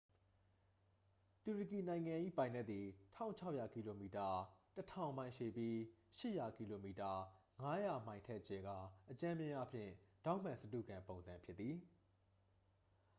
တူရကီနိုင်ငံ၏ ပိုင်နက်သည် ၁၆၀၀ ကီလိုမီတာ ၁၀၀၀ မိုင် ရှည်ပြီး ၈၀၀ ကီလိုမီတာ ၅၀၀ မိုင် ထက် ကျယ်ကာ အကြမ်းဖျင်းအားဖြင့် ထောင့်မှန်စတုဂံပုံစံ ဖြစ်သည်။